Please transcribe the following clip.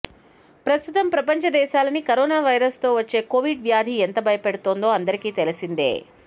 ప్రస్తుతం ప్రపంచ దేశాలని కరోనా వైరస్ తో వచ్చే కోవిడ్ వ్యాధి ఎంత భయపెడుతుందో అందరికి తెలిసిందే